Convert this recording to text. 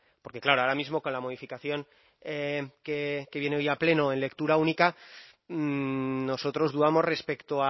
porque claro ahora mismo con la modificación que viene hoy a pleno en lectura única nosotros dudamos respecto